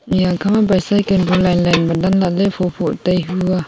eya kha ma bicycle bu line line ma dan lahley phoh phoh tai hua.